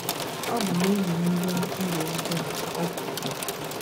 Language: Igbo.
Ọ bụ n’ihi ndị ndú ọjọọ, ka o kwuru.